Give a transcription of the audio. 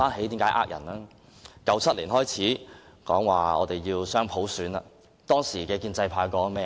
自1997年開始說要雙普選，當時的建制派說過些甚麼？